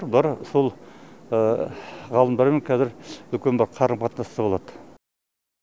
бұлар сол ғалымдармен қазір үлкен бір қарым қатынаста болады